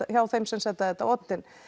hjá þeim sem setja þetta á oddinn